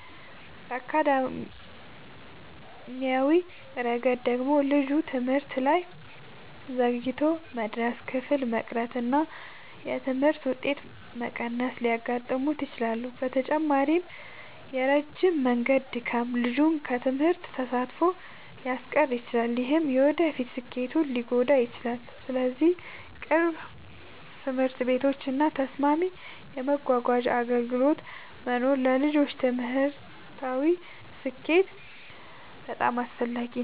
በአካዳሚያዊ ረገድ ደግሞ ልጁ ትምህርት ላይ ዘግይቶ መድረስ፣ ክፍል መቅረት እና የትምህርት ውጤት መቀነስ ሊያጋጥሙት ይችላሉ። በተጨማሪም የረጅም መንገድ ድካም ልጁን ከትምህርት ተሳትፎ ሊያስቀር ይችላል፣ ይህም የወደፊት ስኬቱን ሊጎዳ ይችላል። ስለዚህ ቅርብ ትምህርት ቤቶች እና ተስማሚ የመጓጓዣ አገልግሎቶች መኖር ለልጆች ትምህርታዊ ስኬት በጣም አስፈላጊ ነው።